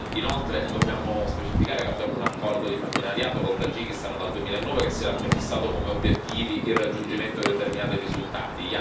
Inoltre, dobbiamo specificare che abbiamo un accordo di partenariato con il Tagikistan dal 2009 che si era prefissato come obiettivi il raggiungimento di determinati risultati.